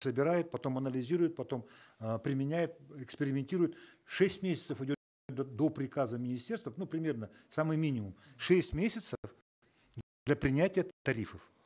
собирают потом анализируют потом э применяют экспериментируют шесть месяцев уйдет до приказа министерства ну примерно самый минимум шесть месяцев для принятия тарифов